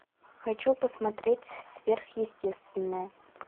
хочу посмотреть сверхъестественное